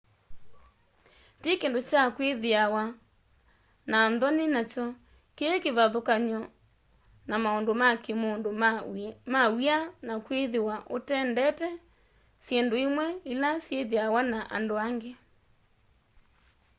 ti kindu kya kwithiwa na nthoni nakyo kii kivathukany'o na maundu ma kimundu ma w'ia na kwithiwa utendeta syindu imwe ila syithiawa na andu aingi